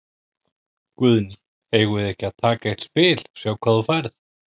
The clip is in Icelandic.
Guðný: Eigum við ekki að taka eitt spil, sjá hvað þú færð?